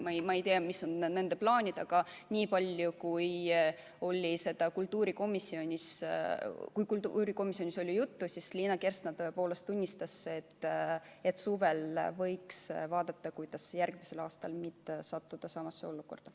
Ma ei tea, mis on nende plaanid, aga kultuurikomisjonis oli sellest juttu ja Liina Kersna tõepoolest tunnistas, et suvel võiks arutada, kuidas järgmisel aastal mitte sattuda samasse olukorda.